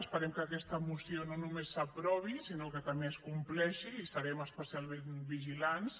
esperem que aquesta moció no només s’aprovi sinó que també es compleixi i estarem especialment vigilants